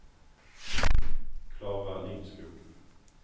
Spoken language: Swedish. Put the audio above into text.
Klara Lindskog